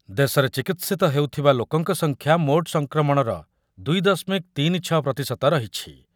ଦେଶରେ ଚିକିତ୍ସିତ ହେଉଥିବା ଲୋକଙ୍କ ସଂଖ୍ୟା ମୋଟ୍ ସଂକ୍ରମଣର ଦୁଇ ଦଶମିକ ତିନି ଛ ପ୍ରତିଶତ ରହିଛି ।